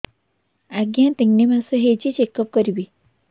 ଆଜ୍ଞା ତିନି ମାସ ହେଇଛି ଚେକ ଅପ କରିବି